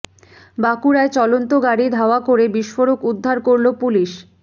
বাঁকুড়ায় চলন্ত গাড়ি ধাওয়া করে বিস্ফোরক উদ্ধার করল পুলিশ